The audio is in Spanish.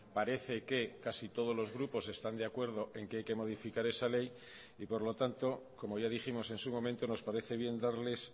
parece que casi todos los grupos están de acuerdo en que hay que modificar esa ley y por lo tanto como ya dijimos en su momento nos parece bien darles